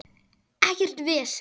Ekkert vesen!